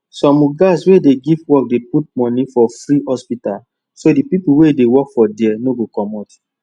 some ogas wey dey give workdey put money for free hospital so dt people wey dey work for there no go commot